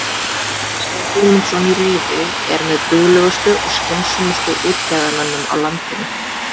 Kristján Guðmundsson í Rifi er með duglegustu og skynsömustu útgerðarmönnum á landinu.